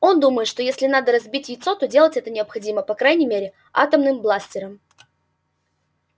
он думает что если надо разбить яйцо то делать это необходимо по крайней мере атомным бластером